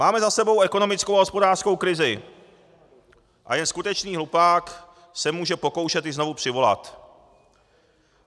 Máme za sebou ekonomickou a hospodářskou krizi a jen skutečný hlupák se může pokoušet ji znovu přivolat.